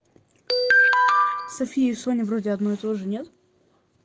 софия соня вроде одно и тоже нет